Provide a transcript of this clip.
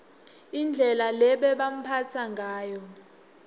indlela lebebambatsa ngayo